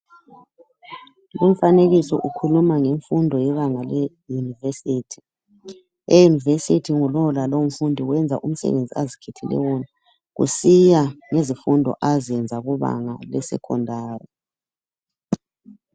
Umfanekiso ukhuluma ngemfundo yebanga le university. E university ngulowo lalowo mfundi wenza umsebenzi azikhethele wona kusiya ngezifundo azenza kubanga le secondary.